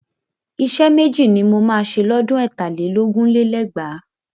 Iṣẹ́ méjì ni mo máa ṣe lọ́dún ẹ̀tà lé lógún lé lẹ́gbàá